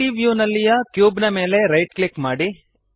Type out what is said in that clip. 3ದ್ ವ್ಯೂನಲ್ಲಿಯ ಕ್ಯೂಬ್ ಮೇಲೆ ರೈಟ್ ಕ್ಲಿಕ್ ಮಾಡಿರಿ